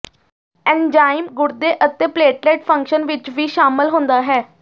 enzyme ਗੁਰਦੇ ਅਤੇ platelet function ਵਿੱਚ ਵੀ ਸ਼ਾਮਲ ਹੁੰਦਾ ਹੈ